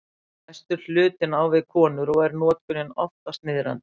Mestur hlutinn á við konur og er notkunin oftast niðrandi.